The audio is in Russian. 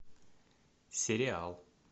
сериал